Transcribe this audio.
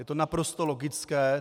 Je to naprosto logické.